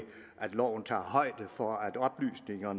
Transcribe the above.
at loven tager højde for at oplysninger